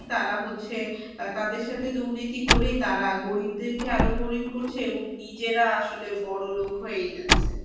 তারা হচ্ছে তাদের সাথে দুর্নীতি করে তারা গরিবদেরকে আরো গরিব করছে এবং নিজেরা আসলে বড়লোক হয়েই যাচ্ছে।